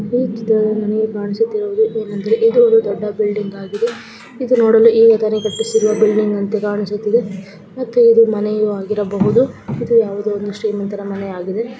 ಈ ಚಿತ್ರದಲ್ಲಿ ನನಿಗೆ ಕಾಣಿಸುವುದೇನೆಂದರೆ ಇದು ಒಂದು ದೊಡ್ಡ ಬಿಲ್ಡಿಂಗ್‌ ಆಗಿದೆ ಇದು ನೋಡಲು ಈಗ ಕಟ್ಟಿಸಿದ ಬಿಲ್ಡಿಂಗ್‌ ಅಂತಾ ಕಾಣಿಸ್ತಾ ಇದೆ ಮತ್ತು ಇದು ಮನೆಯು ಆಗಿರಬಹುದು ಇದು ಯಾವುದೋ ಒಂದು ಶ್ರೀಮಂತರ ಮನೆ ಆಗಿದೆ.